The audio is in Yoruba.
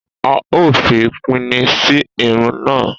A ó fi pini sí irun náà